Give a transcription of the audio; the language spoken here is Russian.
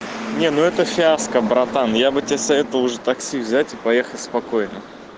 не ну это фиаско братан я бы тебе советовал уже такси взять и поехать спокойно